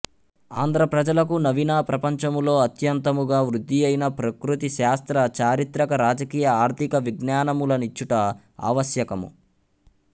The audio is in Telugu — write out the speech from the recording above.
ఆంధ్ర ప్రజలకు నవీన ప్రపంచములో అత్యంతముగా వృద్ధియైన ప్రకృతి శాస్త్ర చారిత్రక రాజకీయ ఆర్ధిక విజ్ఞానములనిచ్చుట ఆవశ్యకము